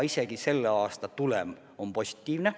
Isegi selle aasta tulem on positiivne.